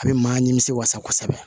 A bɛ maa nimisi wasa